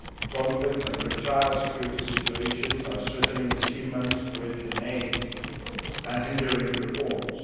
Conflicts and fragile security situations are threatening achievements already made and hindering reforms.